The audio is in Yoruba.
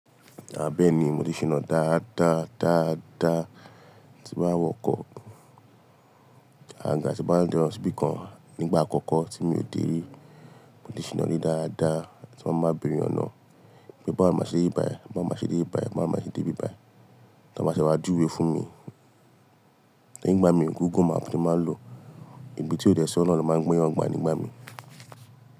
Bẹ́ẹ́ni mò ti ṣìnà dáadáa, dáadáa tí ń bá wọkọ̀, àgaga tí n bá de lo síbìkan nígbà àkọ́kọ́ tí mi ò dé rí, mò ti ṣìnà rí dáadáa tí mọ́ máa beẹ̀re ọ̀nà. Bí bá máa ṣe dé ìbàì, bá máa ṣe dé ìbàì, bá máa ṣe dé bíbàì, tí wọ́n bá ṣe máa dúró fún mi, nígbà mí ń wúgùn màá fi máa lò, ibi tí ó dé sí Ọlọ́run máa ń gbé wọn gbà nígbà mí.